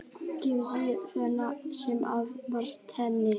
Gizur sneri sér að Marteini.